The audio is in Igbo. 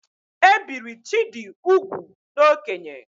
E biri Chidi ugwu n'okénye